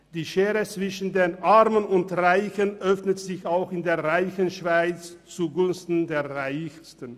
Die Schere zwischen den Armen und Reichen öffnet sich auch in der reichen Schweiz zugunsten der Reichsten.